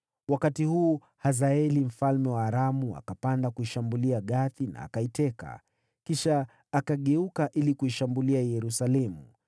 Wakati huu Hazaeli mfalme wa Aramu akapanda kuishambulia Gathi, akaiteka. Kisha akageuka ili kuishambulia Yerusalemu.